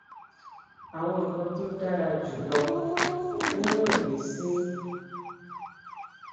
àwọn nǹkan tó dára jù lọ nínú ìgbésí